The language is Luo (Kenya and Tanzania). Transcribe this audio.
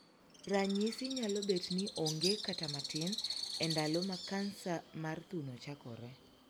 Ranyisi nyalo bet ni onge kata matin e ndalo ma Kansa mar thuno chakore.